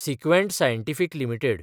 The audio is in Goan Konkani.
Sequent scientific limited